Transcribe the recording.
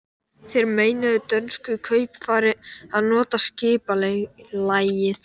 Þeir meinuðu dönsku kaupfari að nota skipalægið.